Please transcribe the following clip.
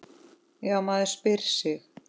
Já, maður spyr sig?